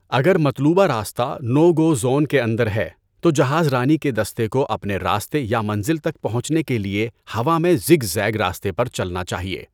اگر مطلوبہ راستہ نو گو زون کے اندر ہے، تو جہاز رانی کے دستے کو اپنے راستے یا منزل تک پہنچنے کے لیے ہوا میں زِگ زیگ راستے پر چلنا چاہیے۔